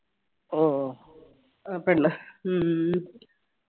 ഉം ആ പെണ്ണ്